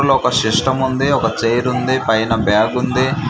Room లో ఒక system ఉంది ఒక చైర్ ఉంది పైన బాగ్ ఉంది.